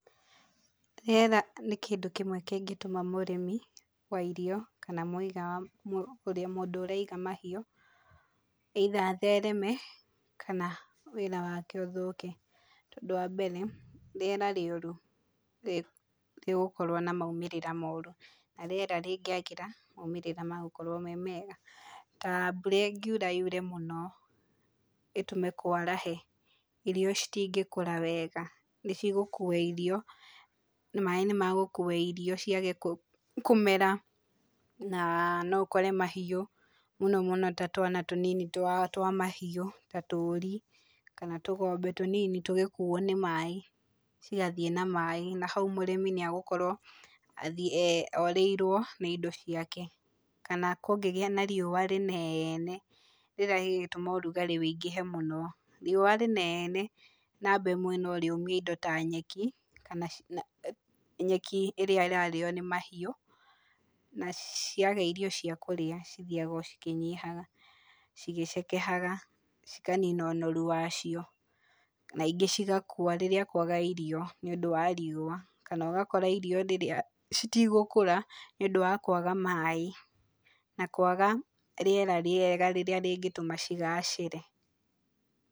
Rĩera nĩ kĩndũ kĩmwe kĩngĩtũma mũrĩmi wa irio kana muiga, mũndũ ũraiga mahĩu either athereme kana wĩra wake ũthũke tondũ wambere rĩera rĩurũ rĩgíũkorwo na maũmĩrĩra moru na rĩera rĩngĩagĩra maũmĩrĩra megũkorwo me mega. Ta mbũra ĩngĩura yure mũno ĩtũme kwarahe irio citingĩkũra wega nĩcĩgũkũa irio maĩĩ nĩmegũkua irio ciage kũmera na no ũkore mahĩu mũnomũno twa twana tũnini twa mahiũ ta tũri kana tũgombe tũnini tũgĩkũo ni maĩĩ cĩgathĩĩ na maĩĩ na haũ mũrĩmĩ nĩegũkorwo orĩirwo nĩ indo ciake kana kũngĩgĩa na rĩua rĩnene rĩrĩa rĩgũtũma ũrũgarĩ wĩingĩhe mũno, rĩua rĩnene namba ĩmwe no rĩũmie indo ta nyeki, nyeki ĩrĩa ĩrarĩo ni mahĩũ na ciaga ĩrĩo cia kũrĩa cithiaga o cikĩnyihaga cĩgĩcekehaga cĩkanina úũorũ wacio na ĩngĩ cĩgakua rĩrĩa kwaga irio nĩ ũndũ wa rĩua kana ũgakora irio citigũkũra nĩũndũ wa kwaga maĩĩ na kwaga rĩera rĩega rĩrĩa rĩngĩtũma cĩgacĩre.